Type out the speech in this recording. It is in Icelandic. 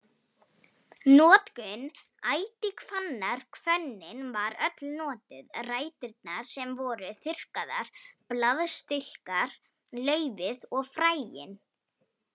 Notkun ætihvannar Hvönnin var öll notuð, ræturnar sem voru þurrkaðar, blaðstilkar, laufið og fræin.